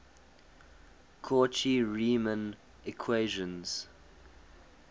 cauchy riemann equations